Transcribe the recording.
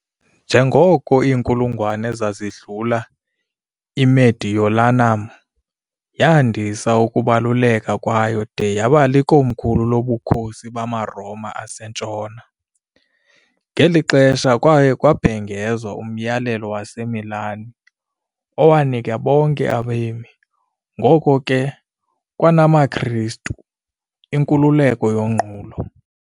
Njengoko iinkulungwane zazidlula, "iMediolanum" yandisa ukubaluleka kwayo de yaba likomkhulu loBukhosi bamaRoma aseNtshona, ngeli xesha kwaye kwabhengezwa uMyalelo waseMilan, owanika bonke abemi, ngoko ke kwanamaKristu, inkululeko yonqulo.